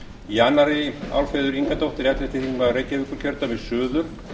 í annarri umferð álfheiður ingadóttir ellefti þingmaður reykjavíkurkjördæmis suður